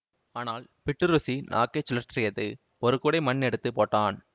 ஆனால் பிட்டு ருசி நாக்கைச் சுழற்றியது ஒரு கூடை மண் எடுத்து போட்டான்